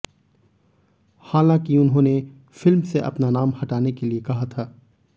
हालांकि उन्होंने फिल्म से अपना नाम हटाने के लिए कहा था